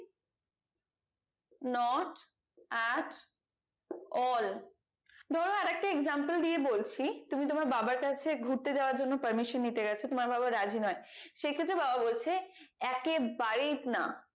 not at all ধরো আরেকটি example দিয়ে বলছি তুমি তোমার বাবার কাছে গুরতে যাওয়ার জন্য parmesan নিতে গেছো তোমার বাবা রাজি নয় সেই ক্ষেত্রে বাবা বলছে একে বারেই না